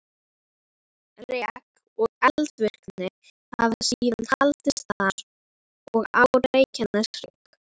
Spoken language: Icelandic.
Rek og eldvirkni hafa síðan haldist þar og á Reykjaneshrygg.